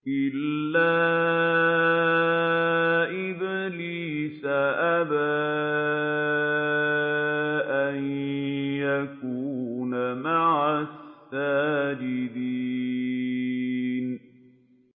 إِلَّا إِبْلِيسَ أَبَىٰ أَن يَكُونَ مَعَ السَّاجِدِينَ